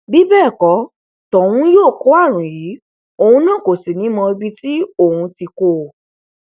bí bẹẹ kò tóhun yóò kó àrùn yìí òun kò sì ní í mọ ibi tí òun ti kó o